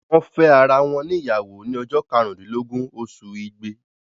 Wọ́n fẹ́ ara wọn ní ìyàwó ni ọjọ́ karùn-úndílógún oṣù ìgbé.